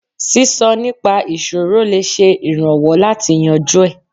Sísọ nípa ìṣòro lè ṣe ìrànwọ́ láti yanjú ẹ̀.